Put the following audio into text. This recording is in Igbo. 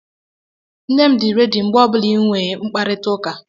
Nne m dị rẹ́di mgbe ọbụla ị nwe mkparịtaụka.